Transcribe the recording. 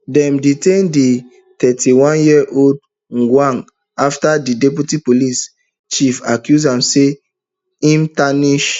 dem detain di thirty-oneyearold ojwang afta di deputy police chief accuse am say im tarnish